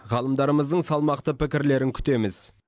ғалымдарымыздың салмақты пікірлерін күтеміз